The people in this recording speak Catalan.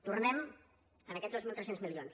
tornem a aquests dos mil tres cents milions